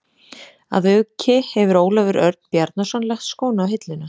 Að auki hefur Ólafur Örn Bjarnason lagt skóna á hilluna.